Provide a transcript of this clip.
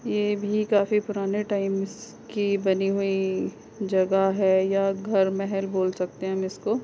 ये भी काफी पुराने टाइम बनी हुई की जगह है या घर महल बोल सकते हैं हम इसको।